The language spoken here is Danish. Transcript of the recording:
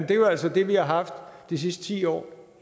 det er altså det vi har haft de sidste ti år